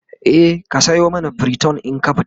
e ka sayo masa priton in ka fita